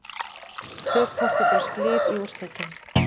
Tvö portúgölsk lið í úrslitum